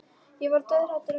Ég var dauðhrædd um að vinur